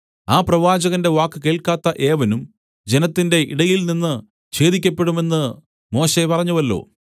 ആ പ്രവാചകന്റെ വാക്ക് കേൾക്കാത്ത ഏവനും ജനത്തിന്റെ ഇടയിൽനിന്ന് ഛേദിക്കപ്പെടും എന്ന് മോശെ പറഞ്ഞുവല്ലോ